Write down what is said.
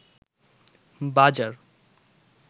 বাজার